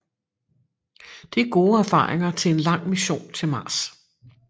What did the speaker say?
Det er gode erfaringer til en lang mission til Mars